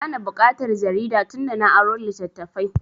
Ba na buƙatar jarida tun da na aro littattafai